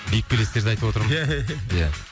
биік белестерді айтып отырмын ия ия ия